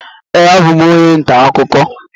Ee, abụ m onye ntaakụkọ